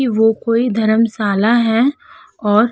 वो कोई धर्मशाला है और --